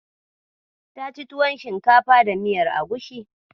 Ta ci tuwan shinkafa da miyar Agusi.